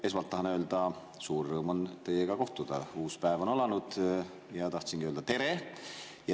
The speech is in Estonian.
Esmalt tahan öelda, et suur rõõm on teiega kohtuda, uus päev on alanud ja tahtsin öelda tere.